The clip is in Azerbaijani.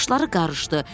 Başları qarışdı.